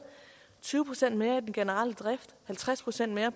tyve procent mere til den generelle drift halvtreds procent mere